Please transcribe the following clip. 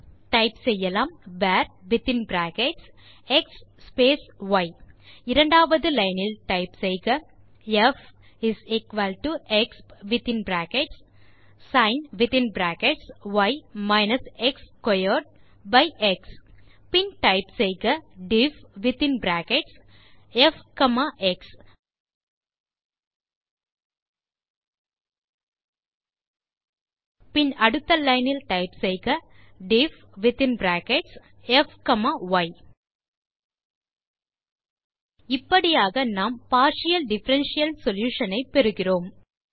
type செய்யலாம் varஎக்ஸ் y இரண்டாவது லைன் இல் டைப் செய்க fexpby எக்ஸ் பின் டைப் செய்க difffஎக்ஸ் பின் அடுத்த லைன் டைப் செய்க difffய் இப்படியாக நாம் பார்ட்டியல் டிஃபரன்ஷியல் சொல்யூஷன் ஐ பெறுகிறோம்